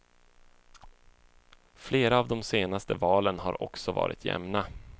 Flera av de senaste valen har också varit jämna.